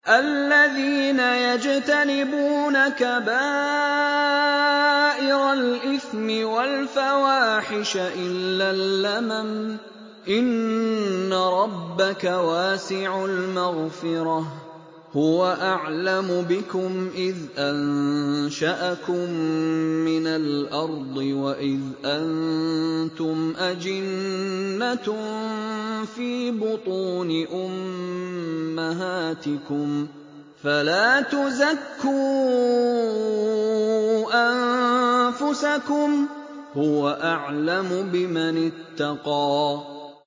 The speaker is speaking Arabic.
الَّذِينَ يَجْتَنِبُونَ كَبَائِرَ الْإِثْمِ وَالْفَوَاحِشَ إِلَّا اللَّمَمَ ۚ إِنَّ رَبَّكَ وَاسِعُ الْمَغْفِرَةِ ۚ هُوَ أَعْلَمُ بِكُمْ إِذْ أَنشَأَكُم مِّنَ الْأَرْضِ وَإِذْ أَنتُمْ أَجِنَّةٌ فِي بُطُونِ أُمَّهَاتِكُمْ ۖ فَلَا تُزَكُّوا أَنفُسَكُمْ ۖ هُوَ أَعْلَمُ بِمَنِ اتَّقَىٰ